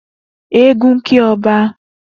Eégún kí ọba